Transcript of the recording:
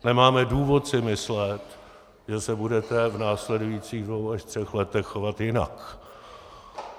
Nemáme důvod si myslet, že se budete v následujících dvou až třech letech chovat jinak.